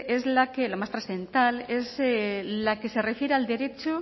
la más trascendental es la que se refiere